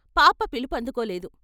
పాప పిలువందుకోలేదు.